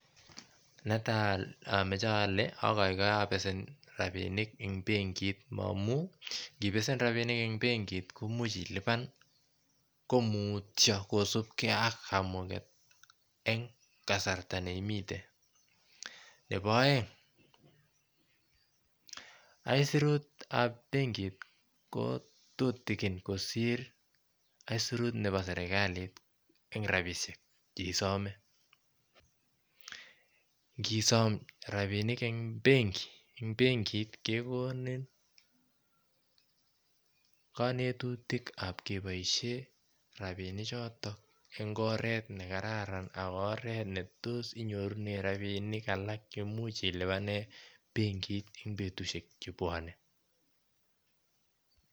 neta amoche ole akoikoe apesen rapinik amun ngipesen rapinik en benki imuche ilipan ko mutio kosupkee ak kamuget en kasarta neimiten nebo oeng aisurutab benkit kotutikin kosir aisurut nebo serkalit en rapishek cheisome ngisom rapinik en benki eng benkit kekonin konetutik ab keboishen rapini chotok en oret nekararan ak oret netos inyorunen rapinik alak cheimuch ilipanen benkit en betushek chebwone